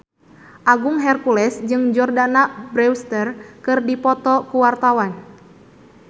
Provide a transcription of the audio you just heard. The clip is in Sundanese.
Agung Hercules jeung Jordana Brewster keur dipoto ku wartawan